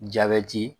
Jabɛti